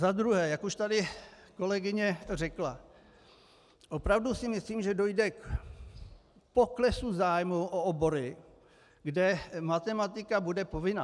Za druhé, jak už tady kolegyně řekla, opravdu si myslím, že dojde k poklesu zájmu o obory, kde matematika bude povinná.